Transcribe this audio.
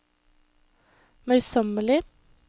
møysommelig